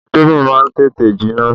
Indomi má ń tètè jinná